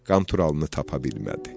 Qanturalını tapa bilmədi.